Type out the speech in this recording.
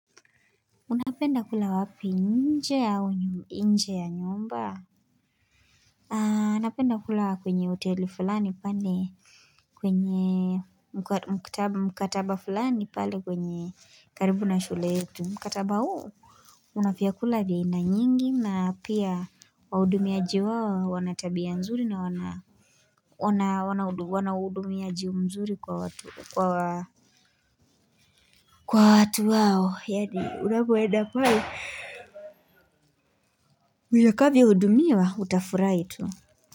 Unapenda kula wapi nje au nje ya nyumba na napenda kula kwenye hoteli fulani pale kwenye mkataba fulani pale kwenye karibu na shule yetu mkataba huu Unavyakula vya aina nyingi na pia wahudumiaji wao wana tabia nzuri na wana wana wanahudumiaji mzuri kwa watu kwa kwa watu wao yaani unapoenda pale utakavyohudumiwa utafurahi tu.